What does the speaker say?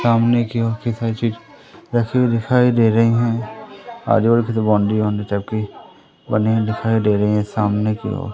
सामने की ओर की काफी सारे चीज रखी हुई दिखाई दे रही है आजू-बाजू बाउंड्री वॉन्डरी टाइप की बनी हुई दिखाई दे रही हैं सामने की ओर --